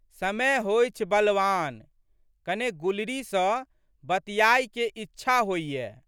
समय होइछ बलवान। कने गुलरी सँ बतिआइके इच्छा होइये।